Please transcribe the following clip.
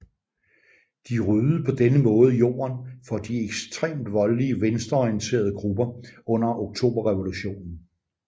De ryddede på denne måde jorden for de ekstremt voldelige venstreorienterede grupper under oktoberrevolutionen